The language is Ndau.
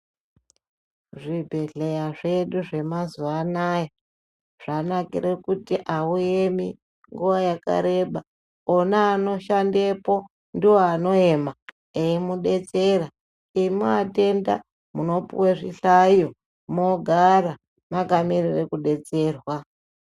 Zvibhedhleya zvedu zvemazuwaanaya zvanakire kuti auemi nguwa yakareba ona anoshandepo ndiwo anoema eimudetsera imi atenda munopuwe zvihlayo mogara makamirire kudetserwa.